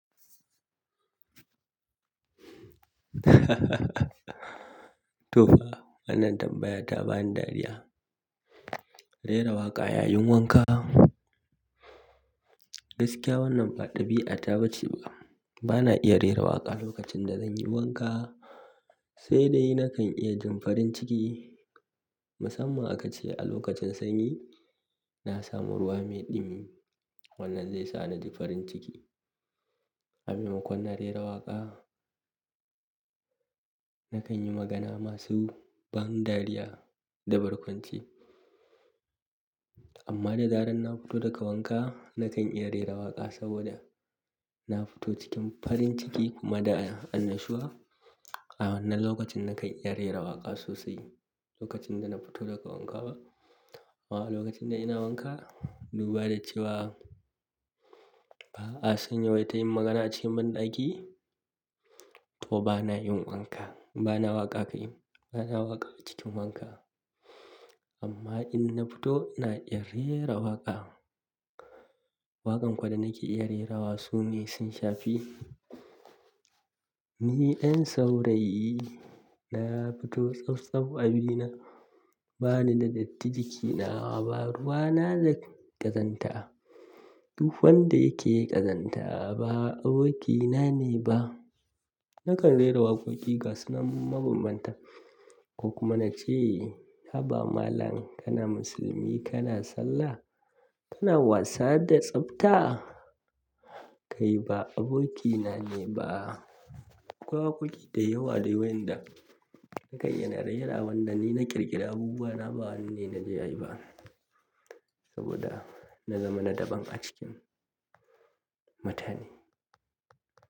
To fa, wannan tambaya ta bani dariya. Rera waƙa yayin wanka? Gaskiya wannan faɗaɓi'a ta ba ce ba. Bana iya rera waƙa lokacin da zanyi wanka, sai dai nakan iya jin farin ciki. Musamman aka ce a lokacin sanyi, na samu ruwa me ɗumi wannan zai sa na ji farin ciki. Amema kon na rera waƙa, nakan yi magana masu ban dariya da barkwanci. Amma da daren na fito daga wanka, nakan iya rera waƙa saboda na fito cikin farin ciki kuma da annashuwa. A wannan lokacin nakan iya rera waƙa sosai, lokacin da na fito daga wanka ba. Wa lokacin da ina wanka, duba da cewa ba a sanye wai tayi magana ce banɗaki to bana yin wanka, bana waƙa kayan, bana waƙa cikin wanka. Amma in na fito ina iya rera waƙa. Waƙan kuwa da nake iya rera wa su ne Sun Shafi, Ni Yan saurayi, na Fito tsaf tsaf, abina bana da datti, jikina ba ruwa na da kazanta, tufan da yake ƙazanta, ba abokina ne ba. Nakan rera waƙoƙi gassunan mabambanta ko kuma na ce "Haba malam kana musulmi, kana sallah? Kana wasa da tsafta? Kai ba abokina ne ba." Waƙoƙi da yawa dai wayanda nakayi na rera, wannan ni na ƙirƙira abubuwa na ba wanni na je ayi ba saboda na zama na daban a cikin mutane.